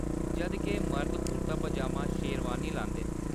जद् के मड़द कुर्ता, पजामा, शेरवानी लांदे न।